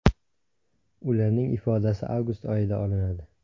Ularning ifodasi avgust oyida olinadi.